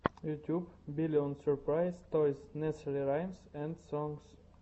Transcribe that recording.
ютюб биллион сюрпрайз тойс несери раймс энд сонгс